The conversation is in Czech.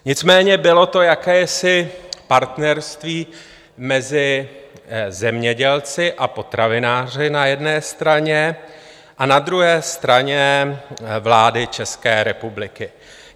Nicméně bylo to jakési partnerství mezi zemědělci a potravináři na jedné straně a na druhé straně vlády České republiky.